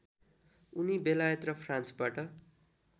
उनी बेलायत र फ्रान्सबाट